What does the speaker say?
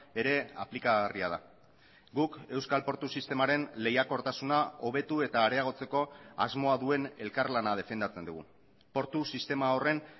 ere aplikagarria da guk euskal portu sistemaren lehiakortasuna hobetu eta areagotzeko asmoa duen elkarlana defendatzen dugu portu sistema horren